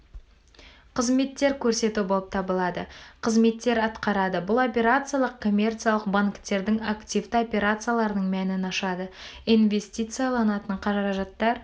қызметтер көрсету болып табылады қызметтер атқарады бұл операциялар коммерциялық банктердің активті операцияларының мәнін ашады инвестицияланатын қаражаттар